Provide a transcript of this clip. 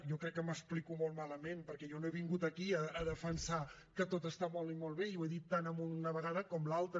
jo crec que m’explico molt malament perquè jo no he vingut aquí a defensar que tot està molt i molt bé i ho he dit tant una vegada com l’altra